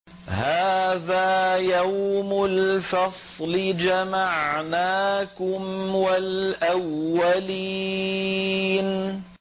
هَٰذَا يَوْمُ الْفَصْلِ ۖ جَمَعْنَاكُمْ وَالْأَوَّلِينَ